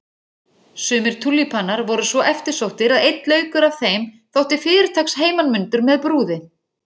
Sumir túlípanar voru svo eftirsóttir að einn laukur af þeim þótti fyrirtaks heimanmundur með brúði.